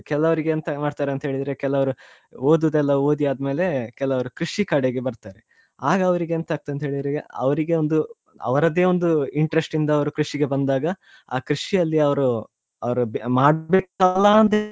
ಕೆಲವ್ರು ಎಂತ ಮಾಡ್ತಾರೆ ಅಂತ ಹೇಳಿದ್ರೆ ಕೆಲವ್ರು ಓದುದೆಲ್ಲಾಓದಿ ಆದ್ಮೇಲೆ ಕೆಲವ್ರು ಕೃಷಿ ಕಡೆಗೆ ಬರ್ತಾರೆ ಆಗ ಅವ್ರಿಗೆ ಎಂತ ಅಗ್ತದೆ ಅಂತ ಹೇಳಿದ್ರೆ ಈಗ ಅವ್ರಿಗೆ ಒಂದು ಅವರದ್ದೇ ಒಂದು interest ಇಂದ ಅವ್ರು ಕೃಷಿಗೆ ಬಂದಾಗ ಆ ಕೃಷಿಯಲ್ಲಿ ಅವ್ರು ಅವರು ಮಾಡ್ಬೇಕಲ್ಲ ಅಂತ ಹೇಳಿ.